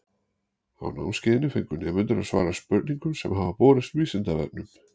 Á námskeiðinu fengu nemendur að svara spurningum sem hafa borist Vísindavefnum.